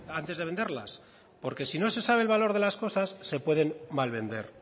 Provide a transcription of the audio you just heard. antes de venderlas porque si no se sabe el valor de las cosas se pueden malvender